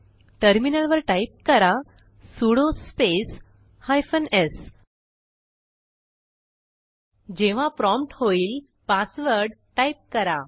टर्मिनलवर टाईप करा sudo space hyphen s जेव्हा प्रॉम्प्ट होईल पासवर्ड टाइप करा